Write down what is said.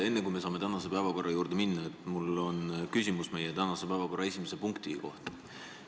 Enne, kui saame tänase päevakorra juurde minna, on mul küsimus meie tänase päevakorra esimese punkti kohta.